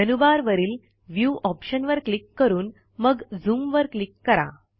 menu bar वरील view ऑप्शनवर click करून मग झूम वर क्लिक करा